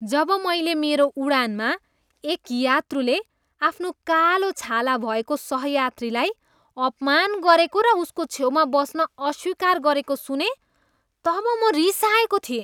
जब मैले मेरो उडानमा एक यात्रुले आफ्नो कालो छाला भएको सहयात्रीलाई अपमान गरेको र उसको छेउमा बस्न अस्वीकार गरेको सुनेँ तब म रिसाएको थिएँ।